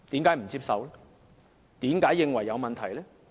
為何認為有問題？